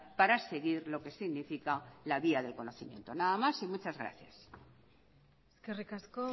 para seguir lo que significa la vía del conocimiento nada más y muchas gracias eskerrik asko